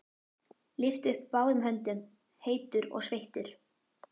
Lyfti upp báðum höndum, heitur og sveittur.